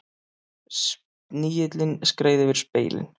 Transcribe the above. Snigillinn skreið yfir spegilinn.